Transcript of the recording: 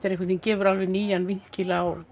gefur nýjan vinkil á